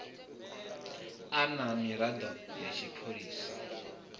a na miraḓo ya tshipholisa